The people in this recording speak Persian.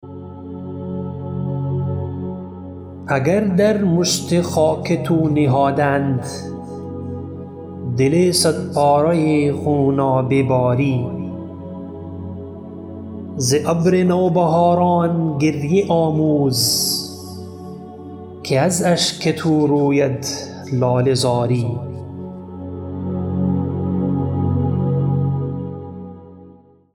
اگر در مشت خاک تو نهادند دل صد پاره خونابه باری ز ابر نو بهاران گریه آموز که از اشک تو روید لاله زاری